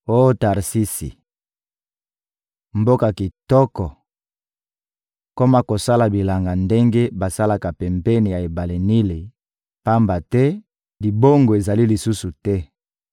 Oh Tarsisi, mboka kitoko, koma kosala bilanga ndenge basalaka pembeni ya ebale Nili, pamba te libongo ezali lisusu te.